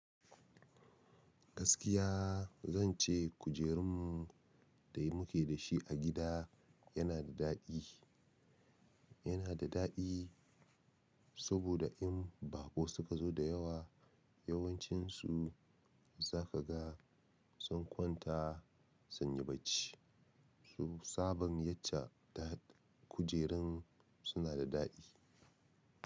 Gaskiya zan ce kujerun mu da muke da shi a gida yana da daɗi, yana da daɗi sabida in baƙo suka zo da yawa, yawancinsu zaka ga sun kwanta sun yi bacci. Tsaban yacca kujerun suna da daɗi.